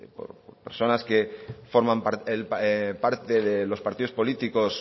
por personas que forman parte de los partidos políticos